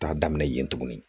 Taa daminɛ yen tuguni